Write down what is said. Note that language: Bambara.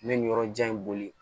N bɛ nin yɔrɔ jan in boli